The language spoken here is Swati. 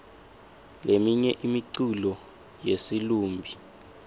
leminye imiculo yesilumbi